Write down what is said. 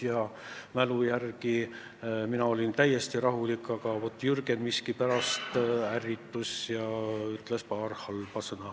Ja nii palju kui ma mäletan, mina olin täiesti rahulik, aga vaat Jürgen miskipärast ärritus ja ütles paar halba sõna.